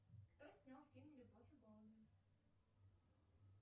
кто снял фильм любовь и голуби